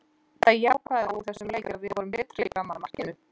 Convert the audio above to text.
Það jákvæða úr þessum leik er að við vorum betri fram að markinu.